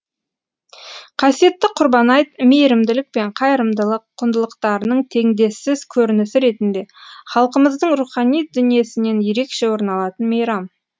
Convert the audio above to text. қасиетті құрбан айт мейірімділік пен қайырымдылық құндылықтарының теңдессіз көрінісі ретінде халқымыздың рухани дүниесінен ерекше орын алатын мейрам